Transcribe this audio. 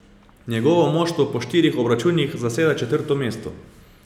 Njegovo moštvo po štirih obračunih zaseda četrto mesto.